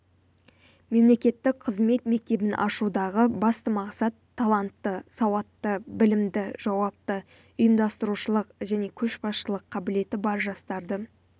мемлекеттік қызмет мектебін ашудағы басты мақсат талантты сауатты білімді жауапты ұйымдастырушылық және көшбасшылық қабілеті бар жастарды